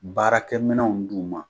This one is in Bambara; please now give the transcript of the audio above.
Baarakɛminɛnw d'u ma